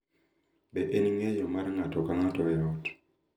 Be en ng’eyo mar ng’ato ka ng’ato e ot